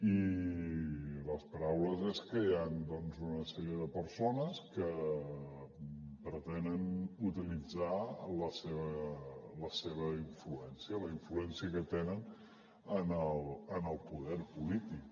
i les paraules és que hi han doncs una sèrie de persones que pretenen utilitzar la seva influència la influència que tenen en el poder polític